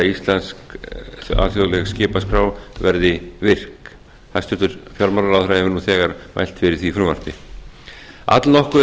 að íslensk alþjóðleg skipaskrá verði virk hæstvirtur fjármálaráðherra hefur nú þegar mælt fyrir því frumvarpi allnokkuð er